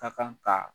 Ka kan ka